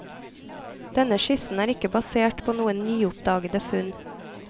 Denne skissen er ikke basert på noen nyoppdagede funn.